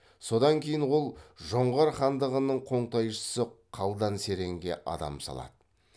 содан кейін ол жоңғар хандығының қоңтайшысы қалдан серенге адам салады